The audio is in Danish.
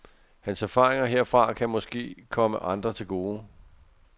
Hans erfaringer herfra kan måske komme andre til gode.